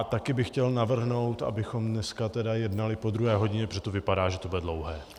A taky bych chtěl navrhnout, abychom dneska jednali po druhé hodině, protože to vypadá, že to bude dlouhé.